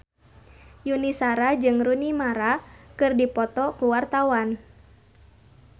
Yuni Shara jeung Rooney Mara keur dipoto ku wartawan